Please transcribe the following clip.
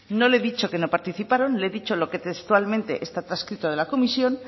no le he dicho que no participaron le he dicho lo que textualmente está transcrito de la comisión